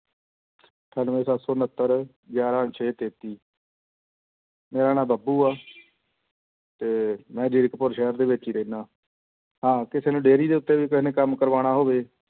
ਅਠਾਨਵੇਂ ਸੱਤ ਸੌ ਉਣਤਰ ਗਿਆਰਾਂ ਛੇ ਤੇਤੀ ਮੇਰਾ ਨਾਂ ਬੱਬੂ ਆ ਤੇ ਮੈਂ ਜੀਰਕਪੁਰ ਸ਼ਹਿਰ ਦੇ ਵਿੱਚ ਹੀ ਰਹਿਨਾ ਤਾਂ ਕਿਸੇ ਨੂੰ dairy ਦੇ ਉੱਤੇ ਵੀ ਕਿਸੇ ਨੇ ਕੰਮ ਕਰਵਾਉਣਾ ਹੋਵੇ,